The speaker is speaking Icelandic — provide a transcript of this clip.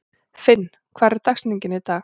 Finn, hver er dagsetningin í dag?